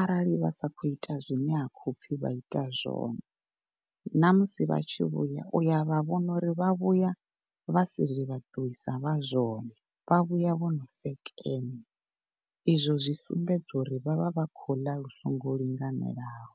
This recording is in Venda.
arali vha si khou ita zwine ha khoupfi vha ite zwone ṋamusi vhatshi vhuya uya vha vhona uri vha vhuya vhasi zwe vha ṱuwisa vhe zwone vha vhuya vhono sekenya izwo zwi sumbedza uri vhavha vha khou u ḽa lu songo linganelaho.